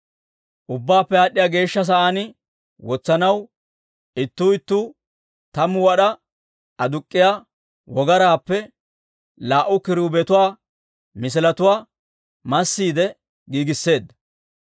Ubbaappe Aad'd'iyaa Geeshsha Sa'aan wotsanaw ittuu ittuu tammu wad'aa aduk'k'iyaa wogaraappe laa"u kiruubetuwaa misiletuwaa massiide giigisseedda.